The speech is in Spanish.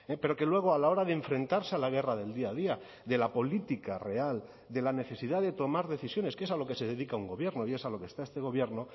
pero que luego a la hora de enfrentarse a la guerra del día a día de la política real de la necesidad de tomar decisiones que es a lo que se dedica un gobierno y es a lo que está este gobierno